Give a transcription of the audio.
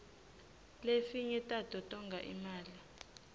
lefinye tato tonga imali